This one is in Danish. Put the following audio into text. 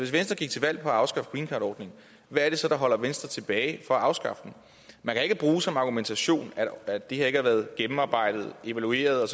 venstre gik til valg på at afskaffe greencardordningen hvad er det så der holder venstre tilbage fra at afskaffe den man kan ikke bruge som argumentation at det her ikke har været gennemarbejdet evalueret